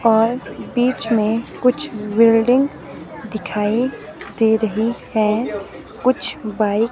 और बीच में कुछ बिल्डिंग दिखाई दे रही है कुछ बाइक --